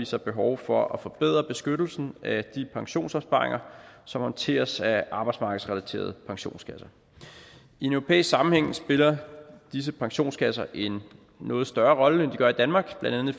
sig behov for at forbedre beskyttelsen af de pensionsopsparinger som håndteres af arbejdsmarkedsrelaterede pensionskasser i en europæisk sammenhæng spiller disse pensionskasser en noget større rolle end de gør i danmark blandt andet